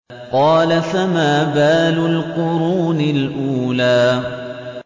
قَالَ فَمَا بَالُ الْقُرُونِ الْأُولَىٰ